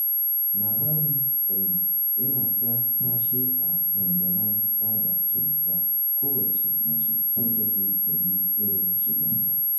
Labarin Salma yana ta tashe a dandalan sada zumunta kowacce mace so take ta yi irin shigarta